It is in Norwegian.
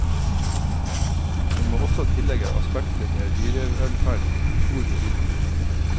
En må også tillegge aspektet med dyrevelferd stor betydning.